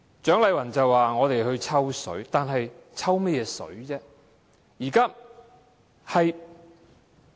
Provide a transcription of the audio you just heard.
蔣麗芸議員說我們"抽水"，但我們"抽"甚麼"水"呢？